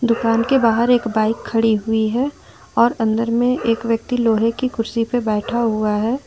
दुकान के बाहर एक बाइक खड़ी हुई है और अंदर में एक व्यक्ति लोहे की कुर्सी पर बैठा हुआ है।